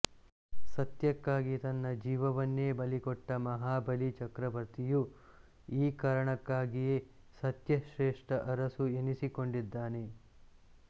ಸತ್ಯಕ್ಕಾಗಿ ತನ್ನ ಜೀವವನ್ನೇ ಬಲಿಕೊಟ್ಟ ಮಹಾಬಲಿ ಚಕ್ರವರ್ತಿಯು ಈ ಕಾರಣಕ್ಕಾಗಿಯೇ ಸತ್ಯಶ್ರೇಷ್ಠ ಅರಸು ಎನಿಸಿಕೊಂಡಿದ್ದಾನೆ